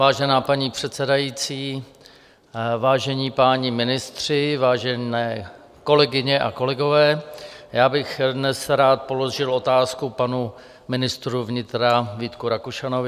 Vážená paní předsedající, vážení páni ministři, vážené kolegyně a kolegové, já bych dnes rád položil otázku panu ministru vnitra Vítku Rakušanovi.